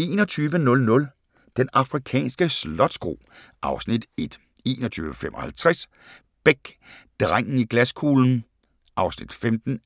21:00: Den afrikanske slotskro (Afs. 1) 21:55: Beck: Drengen i glaskuglen (15:34) 23:25: